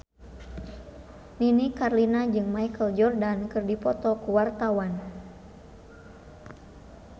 Nini Carlina jeung Michael Jordan keur dipoto ku wartawan